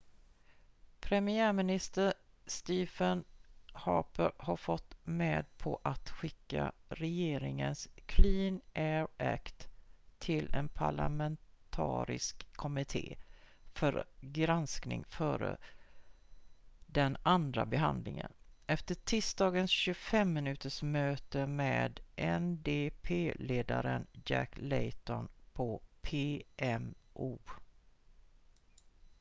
"premiärminister stephen harper har gått med på att skicka regeringens "clean air act" till en parlamentarisk kommitté för granskning före den andra behandlingen efter tisdagens 25-minutersmöte med ndp-ledaren jack layton på pmo.